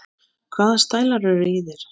Hvaða stælar eru í þér?